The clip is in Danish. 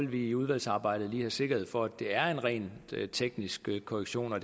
vi i udvalgsarbejdet lige have sikkerhed for at det er en rent teknisk korrektion og